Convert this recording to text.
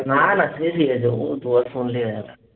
না, না, সে ঠিক আছে।